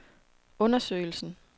undersøgelsen